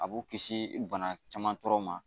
A b'u kisi bana caman tɔɔrɔ ma